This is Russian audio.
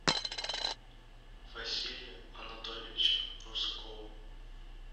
василия анатольевича русакова